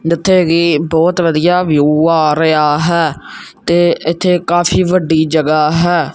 ਇਥੇ ਜੀ ਬਹੁਤ ਵਧੀਆ ਵਿਊ ਆ ਰਿਹਾ ਹੈ ਤੇ ਇੱਥੇ ਕਾਫੀ ਵੱਡੀ ਜਗਾ ਹੈ।